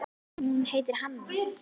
Hún heitir Hanna.